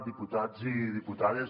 diputats i diputades